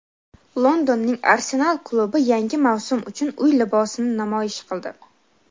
Londonning "Arsenal" klubi yangi mavsum uchun uy libosini namoyish qildi.